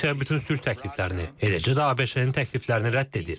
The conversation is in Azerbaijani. Rusiya bütün sülh təkliflərini, eləcə də ABŞ-ın təkliflərini rədd edir.